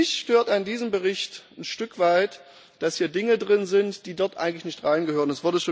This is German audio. Mich stört an diesem Bericht ein Stück weit, dass hier Dinge drin sind, die dort eigentlich nicht reingehören.